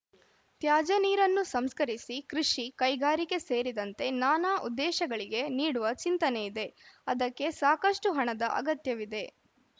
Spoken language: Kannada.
ತ್ಯಾಜ್ಯ ನೀರನ್ನು ಸಂಸ್ಕರಿಸಿ ಕೃಷಿ ಕೈಗಾರಿಕೆ ಸೇರಿದಂತೆ ನಾನಾ ಉದ್ದೇಶಗಳಿಗೆ ನೀಡುವ ಚಿಂತನೆಯಿದೆ ಅದಕ್ಕೆ ಸಾಕಷ್ಟುಹಣದ ಅಗತ್ಯವಿದೆ